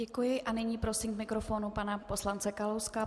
Děkuji a nyní prosím k mikrofonu pana poslance Kalouska.